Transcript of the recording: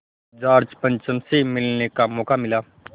George पंचम से मिलने का मौक़ा मिला